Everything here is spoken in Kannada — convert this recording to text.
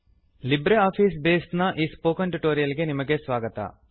ಲಿಬ್ರೆ ಆಫೀಸ್ ಬೇಸ್ ನ ಈ ಸ್ಪೋಕನ್ ಟ್ಯುಟೋರಿಯಲ್ ಗೆ ನಿಮಗೆ ಸ್ವಾಗತ